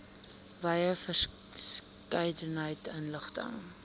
wye verskeidenheid inligting